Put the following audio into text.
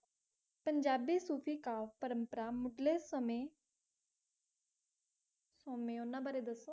ਪੰਜਾਬੀ ਸੂਫ਼ੀ ਕਾਵਿ ਪਰੰਪਰਾ ਮੁਢਲੇ ਸਮੇਂ ਸੋਮੇ ਉਹਨਾਂ ਬਾਰੇ ਦੱਸੋ